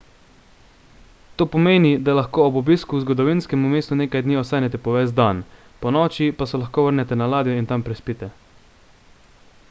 to pomeni da lahko ob obisku v zgodovinskem mestu nekaj dni ostanete po ves dan ponoči pa se lahko vrnete na ladjo in tam prespite